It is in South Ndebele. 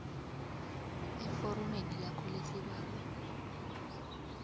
eforomeni lakho lesibawo